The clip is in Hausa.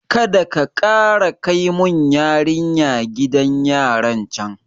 Kadaka kara kai mun yarinya gidan yaran can